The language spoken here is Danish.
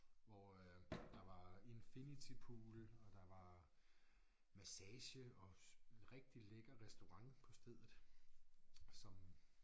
Hvor øh der var infinity pool og der var massage og rigtig lækker restaurant på stedet som